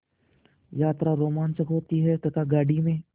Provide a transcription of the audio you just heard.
यात्रा रोमांचक होती है तथा गाड़ी में